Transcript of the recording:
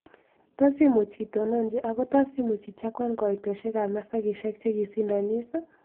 Tos' imuuch itononji ago' tos' imuuch ichakwan kaitosiekap masakisiek chegisindonis